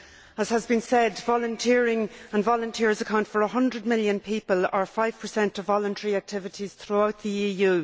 As has been said, volunteering and volunteers account for 100 million people, or five percent of voluntary activities throughout the EU.